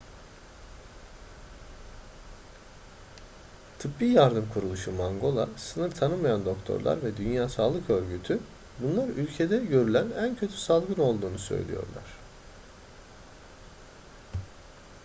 tıbbi yardım kuruluşu mangola sınır tanımayan doktorlar ve dünya sağlık örgütü bunun ülkede görülen en kötü salgın olduğunu söylüyor